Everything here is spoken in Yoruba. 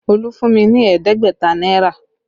Olú fún mi ní ẹ̀ẹ́dẹ́gbẹ̀ta náírà